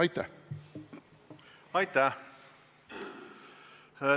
Aitäh!